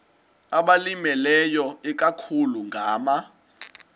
abalimileyo ikakhulu ngama